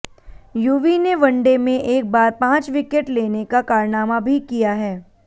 युवी ने वनडे में एक बार पांच विकेट लेने का कारनामा भी किया है